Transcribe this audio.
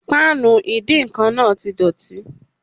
Páànù ìdíǹkan náà di dọ̀tí